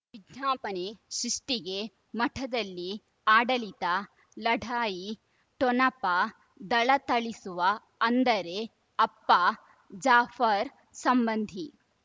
ವಿಜ್ಞಾಪನೆ ಸೃಷ್ಟಿಗೆ ಮಠದಲ್ಲಿ ಆಡಳಿತ ಲಢಾಯಿ ಠೊಣಪ ಧಳಥಳಿಸುವ ಅಂದರೆ ಅಪ್ಪ ಜಾಫರ್ ಸಂಬಂಧಿ